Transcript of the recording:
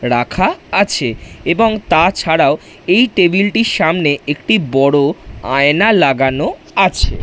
রাখা - আ আছে এবং তাছাড়াও এই টেবিল - টির সামনে একটি বড় আয়না লাগানো - ও আছে - এ --